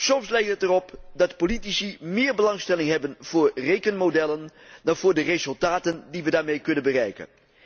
Soms lijkt het erop dat de politici meer belangstelling hebben voor rekenmodellen dan voor de resultaten die we daarmee kunnen bereiken.